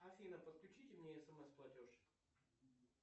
афина подключите мне смс платеж